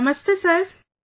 Namaste Sir